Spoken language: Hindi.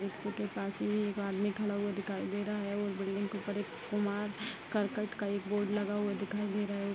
रिक्शे के पास ही एक आदमी खड़ा हुआ दिखाई दे रहा है और बिल्डिंग के ऊपर कुमार करकट का एक बोर्ड लगा हुआ दिखाई दे रहा है।